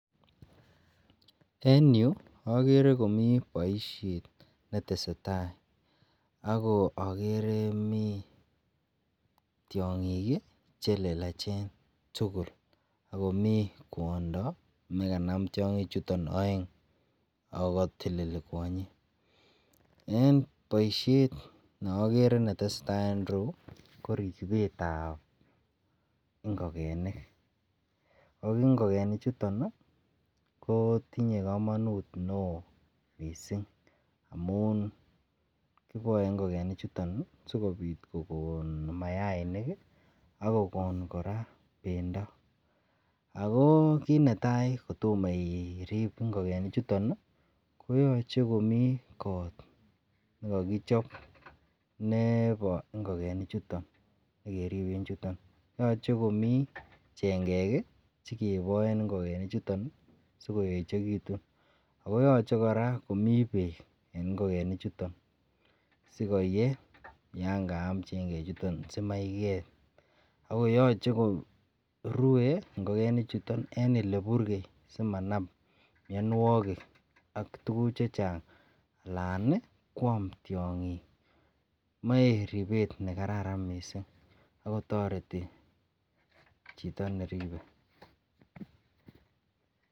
En Yu akere Komi baishet netesetai akoakere komii tiongik chelelachen tugul akomi kwondo nekanam tiangik chuton aengakoteleli kwanyin en baishet neakeree netesetai en yu koribet ab ingogenik akingolenik chuton ko tinye kamanut neon mising amun kibaen ingokenik chuton sikobit kokon mayaik akokon kora bendo ako kit netai kotomonirib ingogenik chuton koyache Komi kot nekakichob Nebo ingogenik chuton nekeriben chuton akoyache Komi chengek chekebaen ingogenik chuton sikobit keyechekitun akoyache koraa komii bek en ingokenik chuton sioyee yakayam chengek sikobit komaiget akoyache korue ingokenik chuton en oleburgei888simanam mianwagik AK tuguk chechang Alan kwam tyondo ,koyache komae ribet nekararan mising akotareti Chito neribe